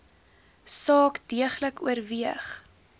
saak deeglik oorweeg